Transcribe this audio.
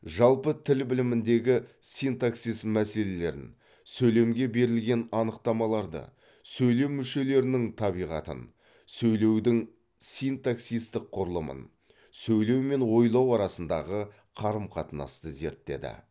жалпы тіл біліміндегі синтаксис мәселелерін сөйлемге берілген анықтамаларды сөйлем мүшелерінің табиғатын сөйлеудің синтаксистік құрылымын сөйлеу мен ойлау арасындағы қарым қатынасты зерттеді